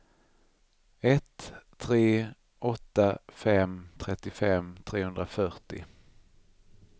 ett tre åtta fem trettiofem trehundrafyrtio